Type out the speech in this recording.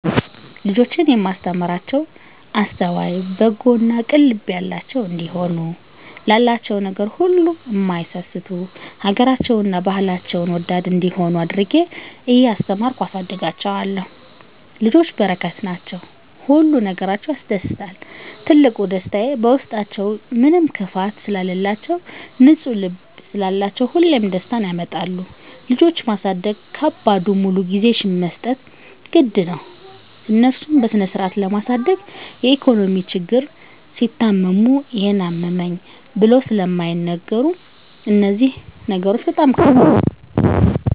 ልጆቼን እማስተምራቸዉ አስተዋይ፣ በጎ እና ቅን ልብ ያላቸዉ እንዲሆኑ፣ ላላቸዉ ነገር ሁሉ እማይሳስቱ፣ ሀገራቸዉን እና ባህላቸዉን ወዳድ እንዲሆነ አድርጌ እያስተማርኩ አሳድጋቸዋለሁ። ልጆች በረከት ናቸዉ። ሁሉ ነገራቸዉ ያስደስታል ትልቁ ደስታየ በዉስጣችዉ ምንም ክፋት ስለላቸዉ፣ ንፁ ልብ ስላላቸዉ ሁሌም ደስታን ያመጣሉ። ልጆች ማሳደግ ከባዱ ሙሉ ጊዜሽን መስጠት ግድ ነዉ፣ እነሱን በስነስርአት ለማሳደግ የኢኮኖሚ ችግር፣ ሲታመሙ ይሄን አመመኝ ብለዉ ስለማይናገሩ እነዚህ ነገሮች ከባድ ናቸዉ።